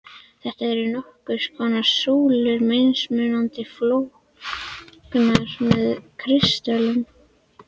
Þetta eru nokkurs konar súlur, mismunandi flóknar með kristöllum.